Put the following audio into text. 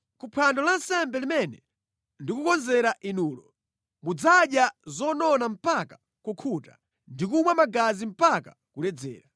Ku phwando lansembe limene ndikukonzera inulo, mudzadya zonona mpaka kukhuta ndi kumwa magazi mpaka kuledzera.